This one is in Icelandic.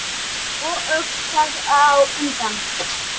Og öll þar á undan.